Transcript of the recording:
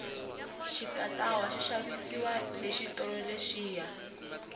xikatawa xi xavisiwa le xitolo lexiya